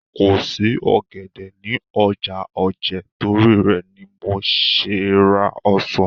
Kò sí ọ̀gẹ̀dẹ̀ ní ọjà Ojé torí rẹ̀ ni mo ṣe ra ọsàn.